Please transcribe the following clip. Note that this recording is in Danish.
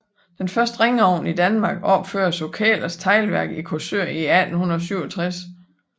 Den første ringovn i Danmark opføres på Kæhlers Teglværk i Korsør i 1867